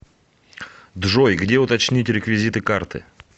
джой где уточнить реквизиты карты